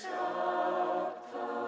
á